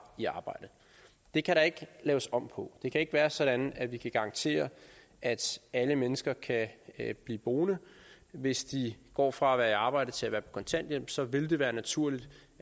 i arbejde det kan der ikke laves om på det kan ikke være sådan at vi kan garantere at alle mennesker kan blive boende hvis de går fra at være i arbejde til at være på kontanthjælp så vil det være naturligt